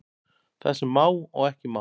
Það sem má og ekki má